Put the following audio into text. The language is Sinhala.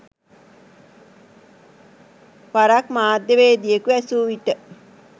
වරක් මාධ්‍යවේදියෙකු ඇසූ විට